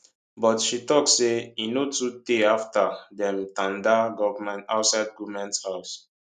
but she tok say e no too tey afta dem tanda outside goment house